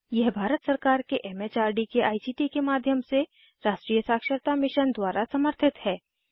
यह भारत सरकार के एम एच आर डी के आई सी टी के माध्यम से राष्ट्रीय साक्षरता मिशन द्वारा समर्थित है